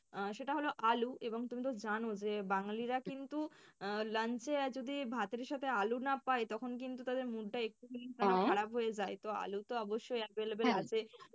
আহ সেটা হল আলু এবং তুমি তো জানো যে বাঙালিরা কিন্তু আহ lunch এ যদি ভাতের সাথে আলু না পায় তখন কিন্তু তাদের mood টা একটুখানির হয়ে যায়। তো আলু তো অবশ্যই available